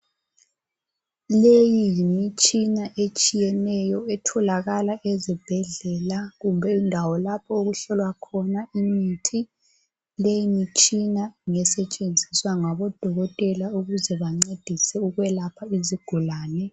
Leyi yimitsina etshiyeneyo otholakala ezibhedlela kumbe endawo lapho okuhlolwa khona imithi. Leyi mitshina ngesetsgenziswa ngabo dokotela ukuze bancedise ukwelapha izigulane.